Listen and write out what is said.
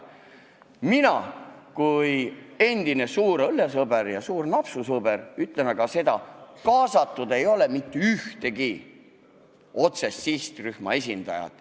Mina kui endine suur õllesõber ja suur napsusõber ütlen seda, et kaasatud ei ole mitte ühtegi otsest sihtrühma esindajat.